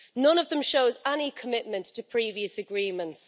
None of them shows any commitment to previous agreements.